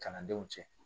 Kalandenw cɛ